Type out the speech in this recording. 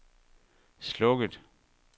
slukket